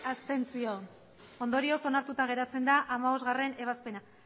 abstentzioak hamasei ondorioz onartuta geratzen da hamabostgarrena ebazpena